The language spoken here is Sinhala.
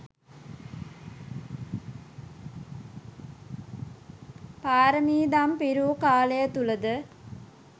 පාරමීදම් පිරූ කාලය තුළ ද